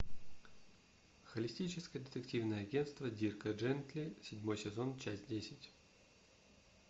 холистическое детективное агентство дирка джентли седьмой сезон часть десять